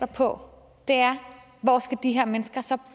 på er hvor skal de her mennesker så